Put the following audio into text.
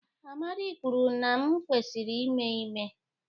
Amadi kwuru na m kwesịrị ime ime